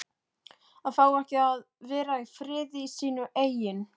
AÐ FÁ EKKI AÐ VERA Í FRIÐI Í SÍNU EIGIN